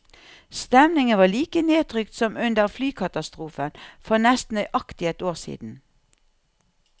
Stemningen var like nedtrykt som under flykatastrofen for nesten nøyaktig ett år siden.